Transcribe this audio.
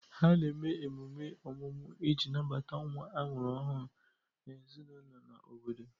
A na-eme emume ọmụmụ iji nabata nwa a mụrụ ọhụrụ n'ezinaụlọ na obodo